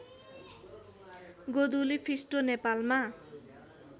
गोधुली फिस्टो नेपालमा